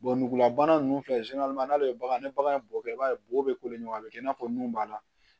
nugula bana ninnu filɛ n'ale ye bagan ni bagan in bɔgɔ kɛ i b'a ye bɔgɔ bɛ ko de ɲɔgɔn a bɛ kɛ i n'a fɔ nun b'a la